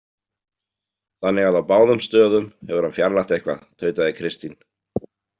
Þannig að á báðum stöðum hefur hann fjarlægt eitthvað, tautaði Kristín.